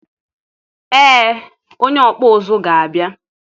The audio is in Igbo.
ee onye ọkpụ ụzụ ga-abia